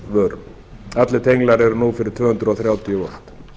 sjálfsvörn allir tenglar eru nú fyrir tvö hundruð þrjátíu volt